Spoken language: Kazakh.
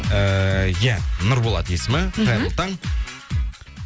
ыыы ия нұрболат есімі қайырлы таң